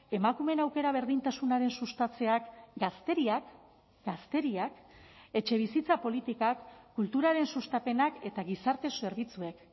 emakumeen aukera berdintasunaren sustatzeak gazteriak gazteriak etxebizitza politikak kulturaren sustapenak eta gizarte zerbitzuek